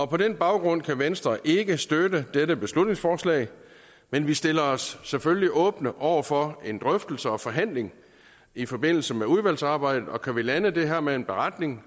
på den baggrund kan venstre ikke støtte dette beslutningsforslag men vi stiller os selvfølgelig åbne over for en drøftelse og forhandling i forbindelse med udvalgsarbejdet og kan vi lande det her med en beretning